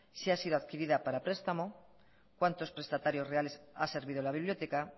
si ha sido adquirida para prestamo cuántos prestatarios reales ha servido la biblioteca